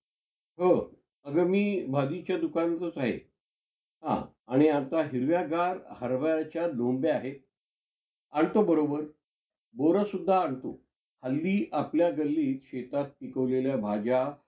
त्याच्यात पण इत~ त्यांचं दोघांचं म्हणजे आह रुद्र आन अं रीशाचं त्यांचं इतकं प्रेम दाखवलेलं आहे की, म्हणजे अह असं त्यानं~ त्यांना कोणीपण हे करू शकत नाही, म्हणजे त्यांचे प्रेम कोणीच हे करू शकत नाही.